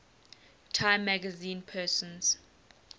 time magazine persons